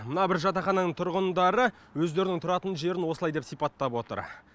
мына бір жатақхананың тұрғындары өздерінің тұратын жерін осылай деп сипаттап отыр